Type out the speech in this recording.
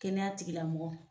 Kɛnɛya tigila mɔgɔ.